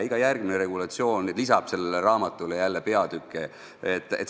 Iga järgmine regulatsioon lisab sellele raamatule peatükke.